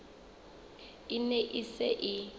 e ne e se e